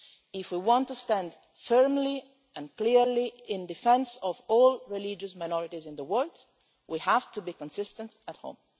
If we want to stand firmly and clearly in defence of all religious minorities in the world, we have to be consistent on this at home.